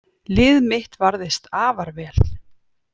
Lið mitt varðist afar vel